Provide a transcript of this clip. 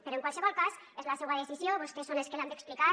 però en qualsevol cas és la seua decisió vostès són els que l’han d’explicar